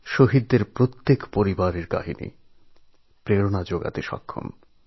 শহিদদের পরিবারের কাহিনিগুলি প্রেরণায় ভরপুর